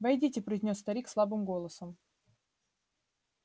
войдите произнёс старик слабым голосом